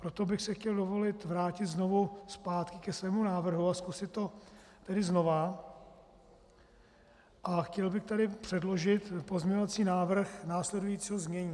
Proto bych si chtěl dovolit vrátit znovu zpátky ke svému návrhu a zkusit to tedy znovu a chtěl bych tady předložit pozměňovací návrh následujícího znění.